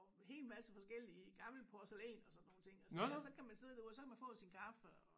Hel masse forskellige gammel porcelæn og sådan nogle ting og så kan man sidde derude og så kan man få sin kaffe og